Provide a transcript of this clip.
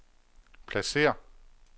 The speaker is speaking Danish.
pladsér